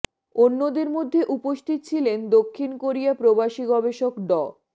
অন্যদের মধ্যে উপস্থিত ছিলেন দক্ষিণ কোরিয়া প্রবাসী গবেষক ড